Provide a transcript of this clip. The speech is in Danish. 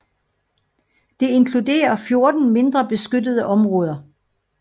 Det inkluderer 14 mindre beskyttede områder